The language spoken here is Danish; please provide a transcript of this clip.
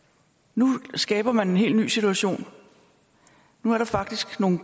nu skaber man en helt ny situation nu er der faktisk nogle